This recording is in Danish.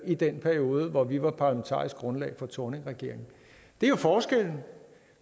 i den periode hvor vi var parlamentarisk grundlag for thorningregeringen det er forskellen